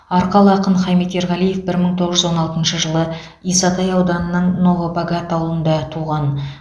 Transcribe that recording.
арқалы ақын хамит ерғалиев бір мың тоғыз жүз он алтыншы жылы исатай ауданының новобогат ауылында туған